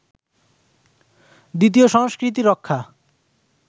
দ্বিতীয় সংস্কৃতি রক্ষা